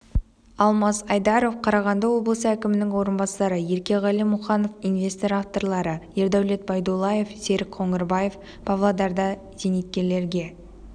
алмас айдаров қарағанды облысы әкімінің орынбасары еркеғали мұқанов инвестор авторлары ердәулет байдуллаев серік қоңырбаев павлодарда зейнеткерлерге